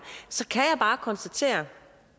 så kan jeg bare konstatere